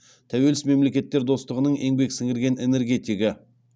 тәуелсіз мемлекеттер достығының еңбек сіңірген энергетигі